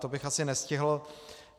To bych asi nestihl.